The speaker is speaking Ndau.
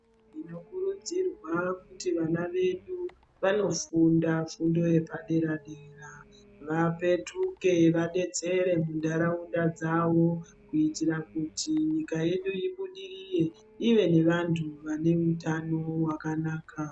Tinokurudzirwa kuti vana vedu vanofunda fundo yedera dera, vapetuke vadetsere munharaunda dzavo kuitira kuti nyika yedu ibudirire ive nevantu vane utano hwakanaka.